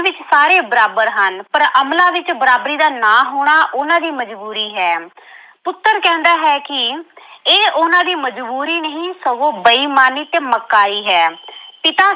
ਇਸ ਵਿੱਚ ਸਾਰੇ ਬਰਾਬਰ ਹਨ ਪਰ ਅਮਲਾਂ ਵਿੱਚ ਬਰਾਬਰੀ ਦਾ ਨਾ ਹੋਣਾ ਉਹਨਾਂ ਦੀ ਮਜ਼ਬੂਰੀ ਹੈ। ਪੁੱਤਰ ਕਹਿੰਦਾ ਹੈ ਕਿ ਇਹ ਉਹਨਾਂ ਦੀ ਮਜ਼ਬੂਰੀ ਨਹੀਂ ਸਗੋਂ ਬੇਈਮਾਨੀ ਤੇ ਮੱਕਾਰੀ ਹੈ। ਪਿਤਾ